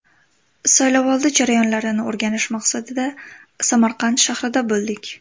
Saylovoldi jarayonlarini o‘rganish maqsadida Samarqand shahrida bo‘ldik.